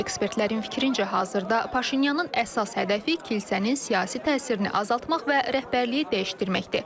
Ekspertlərin fikrincə, hazırda Paşinyanın əsas hədəfi kilsənin siyasi təsirini azaltmaq və rəhbərliyi dəyişdirməkdir.